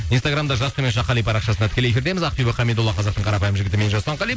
инстаграмда жас төмен сызықша қали парақшасында тікелей эфирдеміз ақбибі хамидолла қазақтың қарапайым жігіті мен жасұлан қали